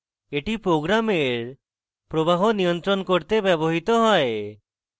এটি program প্রবাহ নিয়ন্ত্রণ করতে ব্যবহৃত হয়